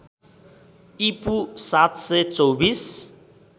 ईपू ७२४